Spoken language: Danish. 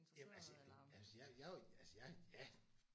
Jamen altså jeg kan man sige jeg er jo altså jeg er ja